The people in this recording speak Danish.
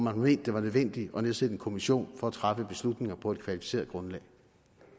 at det var nødvendigt at nedsætte en kommission for at træffe beslutninger på et kvalificeret grundlag